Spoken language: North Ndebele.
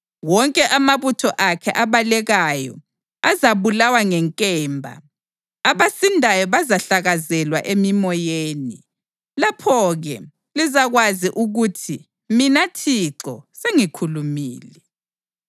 Wonke amabutho akhe abalekayo azabulawa ngenkemba, abasindayo bazahlakazelwa emimoyeni. Lapho-ke lizakwazi ukuthi mina Thixo sengikhulumile.